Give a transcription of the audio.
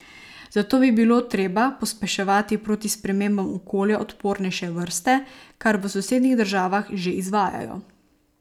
Zato bi bilo treba pospeševati proti spremembam okolja odpornejše vrste, kar v sosednjih državah že izvajajo.